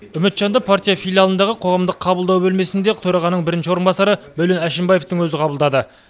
үмітжанды партия филиалындағы қоғамдық қабылдау бөлмесінде төрағаның бірінші орынбасары мәулен әшімбаевтың өзі қабылдады